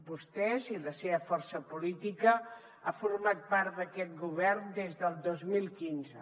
vostès i la seva força política han format part d’aquest govern des del dos mil quinze